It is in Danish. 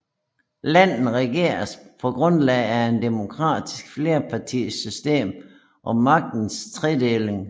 Landet regeres på grundlag af et demokratisk flerpartisystem og magtens tredeling